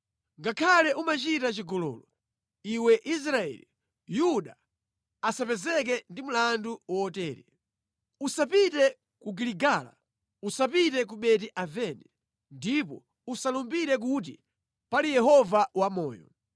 “Ngakhale umachita chigololo, iwe Israeli, Yuda asapezeke ndi mlandu wotere. “Usapite ku Giligala. Usapite ku Beti-Aveni. Ndipo usalumbire kuti, ‘Pali Yehova wamoyo!’